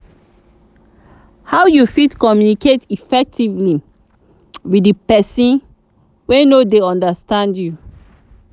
how you fit communicate effectively with di pesin wey no dey understand you?